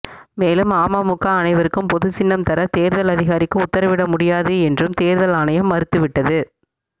மேலும் அமமுக அனைவருக்கும் பொதுசின்னம் தர தேர்தல் அதிகாரிக்கு உத்தரவிட முடியாது என்றும் தேர்தல் ஆணையம் மறுத்துவிட்டது